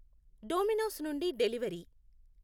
Domino's నుండి delivery.